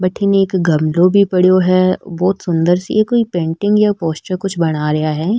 बठिन एक गमलो भी पड़ो है बहोत सुन्दर सी कोई पेंटिंग या पोस्टर सी कुछ बना रिया है।